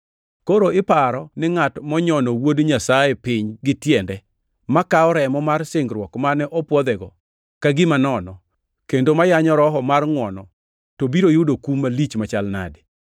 Koro iparo ni ngʼat monyono Wuod Nyasaye piny gi tiende, makawo remo mar singruok mane opwodhego ka gima nono, kendo ma yanyo Roho mar ngʼwono, to biro yudo kum malich machal nade?